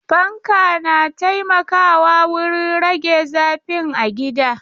Fanka na taimakawa wurin rage zafin a gida.